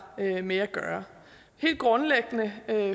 med at gøre helt grundlæggende